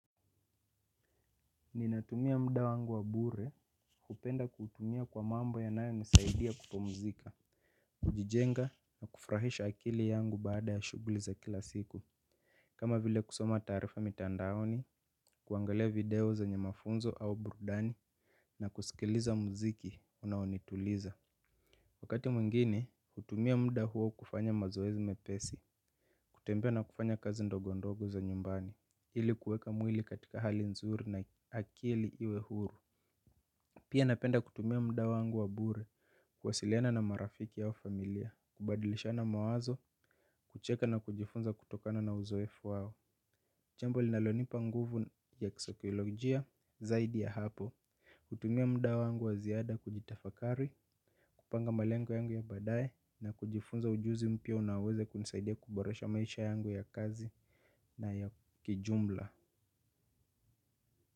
Ninatumia muda wangu wa bure. Kupenda kutumia kwa mambo yanayonisaidia kupumzika kujijenga na kufurahisha akili yangu baada ya shughuli za kila siku kama vile kusoma taarifa mitandaoni kuangalia video zenye mafunzo au burudani na kusikiliza muziki unaonituliza. Wakati mwingine hutumia muda huo kufanya mazoezi mepesi kutembea na kufanya kazi ndogo ndogo za nyumbani ili kuweka mwili katika hali nzuri na akili iwe huru. Pia napenda kutumia muda wangu wa bure, kuwasiliana na marafiki au familia, kubadilishana mawazo, kucheka na kujifunza kutokana na uzoefu wao. Jambo linalonipa nguvu ya kisaikolojia zaidi ya hapo. Kutumia muda wangu wa ziada kujitafakari, kupanga malengo yangu ya baadaye na kujifunza ujuzi mpya unaoweze kunisaidia kuboresha maisha yangu ya kazi na ya kijumla.